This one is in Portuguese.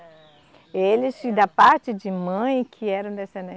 Eles, da parte de mãe, que eram descenden